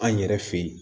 An yɛrɛ fe yen